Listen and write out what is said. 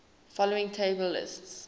following table lists